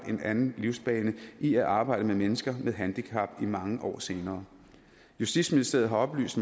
en anden livsbane i at arbejde med mennesker med handicap mange år senere justitsministeriet har oplyst